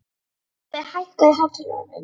Gylfi, hækkaðu í hátalaranum.